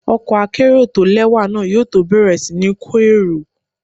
Ọkọ̀ akérò tó lẹ́wà náà yóò tó bẹ̀rẹ̀ sí ní kó èrò.